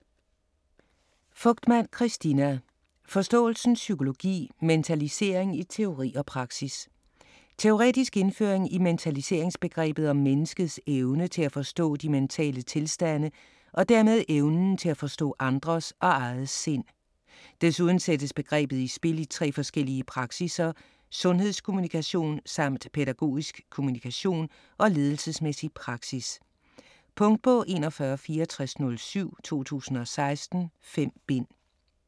Fogtmann, Christina: Forståelsens psykologi: mentalisering i teori og praksis Teoretisk indføring i mentaliseringsbegrebet som menneskets evne til at forstå de mentale tilstande og dermed evnen til at forstå andres og eget sind. Desuden sættes begrebet i spil i tre forskellige praksisser: sundhedskommunikation samt pædagogisk kommunikation og ledelsesmæssig praksis. Punktbog 416407 2016. 5 bind.